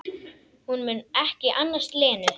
Hún mun ekki annast Lenu.